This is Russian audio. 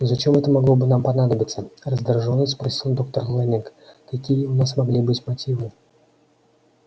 но зачем это могло бы нам понадобиться раздражённо спросил доктор лэннинг какие у нас могли быть мотивы